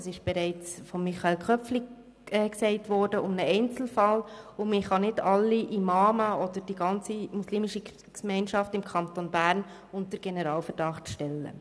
Grossrat Michael Köpfli hat es bereits gesagt – um einen Einzelfall, und man kann nicht alle Imame oder die ganze muslimische Gemeinschaft im Kanton Bern unter Generalverdacht stellen.